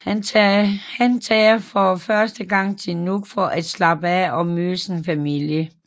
Han tager for første gang til Nuuk for at slappe af og møde familien